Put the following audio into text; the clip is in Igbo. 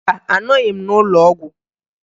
Mba, anọghị m n'ụlọọgwụ